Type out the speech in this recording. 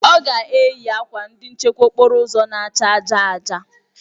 Ọ ga-eyi akwa ndị nchekwa okporo ụzọ na-acha aja aja